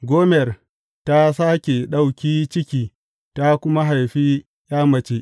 Gomer ta sāke ɗauki ciki ta kuma haifi ’ya mace.